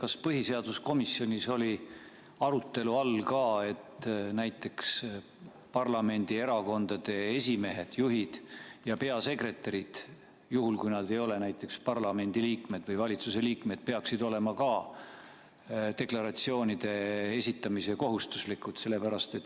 Kas põhiseaduskomisjonis oli arutelu all ka, et näiteks parlamendierakondade esimehed, juhid, ja peasekretärid – juhul, kui nad ei ole parlamendi liikmed või valitsuse liikmed – peaksid olema ka deklaratsioonide esitamise kohustuslased?